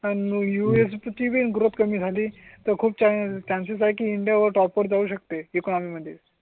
आणि US ची growth कमी झाली तर खूप चान्सस आहे. इंडिया वर टॉप वर जाऊ शकते इकॉनॉमी मध्ये